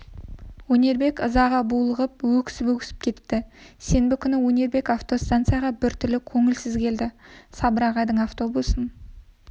өнербек ызаға булығып өксіп-өксіп кетті сенбі күні өнербек автостанцияға бір түрлі көңілсіз келді сабыр ағайдың автобусын